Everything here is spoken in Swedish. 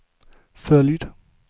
följd